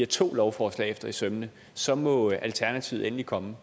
to lovforslag efter i sømmene så må alternativet endelig komme